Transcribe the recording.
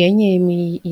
Yenye